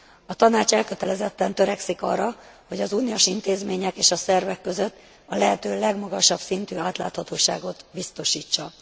A Tanács elkötelezetten törekszik arra, hogy az uniós intézmények és szervek között a lehető legmagasabb szintű átláthatóságot biztosítsa.